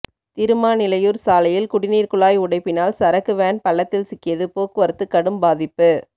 திருமாநிலையூர் சாலையில் குடிநீர் குழாய் உடைப்பினால் சரக்கு வேன் பள்ளத்தில் சிக்கியது போக்குவரத்து கடும் பாதிப்பு